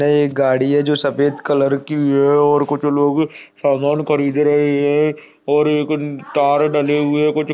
गाड़ी है जो सफेद कलर की है और कुछ लोग सामान खरीद रहे हैं और एक तार डाले हुए है। कुछ--